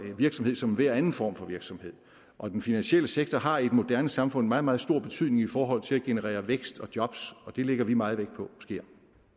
en virksomhed som enhver anden form for virksomhed og den finansielle sektor har i et moderne samfund meget meget stor betydning i forhold til at generere vækst og jobs og det lægger vi meget vægt på sker